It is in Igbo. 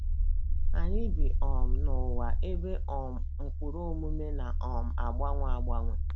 ANYỊ bi um n’ụwa ebe um ụkpụrụ omume na um - agbanwe agbanwe.